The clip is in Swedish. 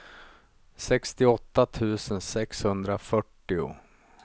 sextioåtta tusen sexhundrafyrtio